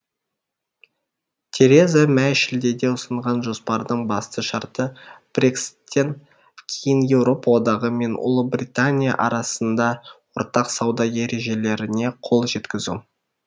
тереза мэй шілдеде ұсынған жоспардың басты шарты брекситтен кейін еуропа одағы мен ұлыбритания арасында ортақ сауда ережелеріне қол жеткізу